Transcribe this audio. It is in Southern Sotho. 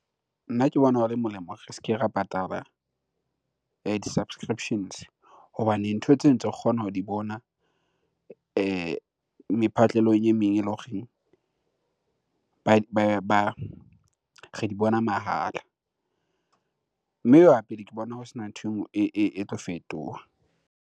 Nna ke bona ho le molemo re se ke ra patala di-subscriptions hobane ntho tseo tse re kgona ho di bona mephatlelong e meng eloreng ba, re di bona mahala. Mme ho ya pele ke bona ho sena ntho e nngwe e tlo fetoha.